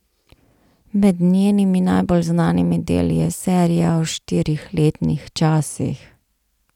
Med njenimi najbolj znanimi deli je serija o štirih letnih časih.